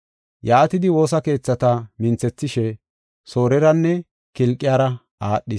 Yaatidi, woosa keethata minthethishe Sooreranne Kilqiyara aadhis. Phawuloosi Wongela Sabbakanaw Bida Nam7antho Ogiya